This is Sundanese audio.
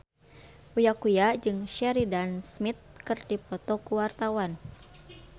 Uya Kuya jeung Sheridan Smith keur dipoto ku wartawan